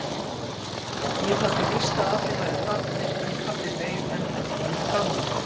Ég taldi víst að allir væru farnir en pabbi beið enn eftir mér frammi.